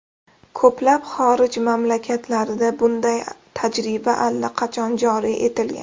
Ko‘plab xorij mamlakatlarida bunday tajriba allaqachon joriy etilgan.